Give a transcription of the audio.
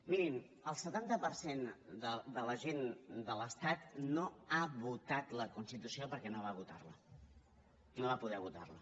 mirin el setanta per cent de la gent de l’estat no ha votat la constitució perquè no va votar la no va poder votar la